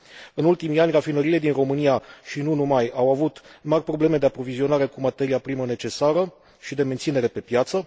În ultimii ani, rafinăriile din România, și nu numai, au avut mari probleme de aprovizionare cu materia primă necesară și de menținere pe piață.